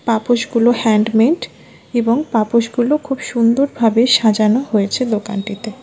পাপোশ গুলো হ্যান্ডমেড এবং পাপোশ গুলো খুব সুন্দর ভাবে সাজানো হয়েছে দোকানটিতে।